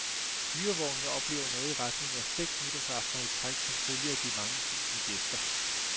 Hyrevognene oplever noget i retning af seks nytårsaftener i træk som følge af de mange tusinde gæster.